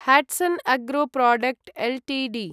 Hatsun agro product Ltd